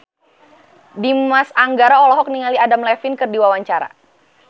Dimas Anggara olohok ningali Adam Levine keur diwawancara